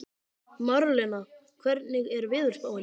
Marlena, hvernig er veðurspáin?